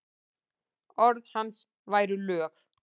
Orð hans væru lög.